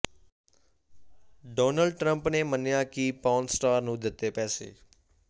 Donald Trump ਨੇ ਮੰਨਿਆ ਕਿ ਪੋਰਨ ਸਟਾਰ ਨੂੰ ਦਿੱਤੇ ਪੈਸੇ